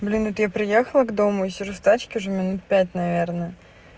блин это я приехала к дому и сижу в тачке уже минут пять наверное